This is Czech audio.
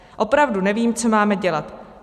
Opravdu nevím, co máme dělat.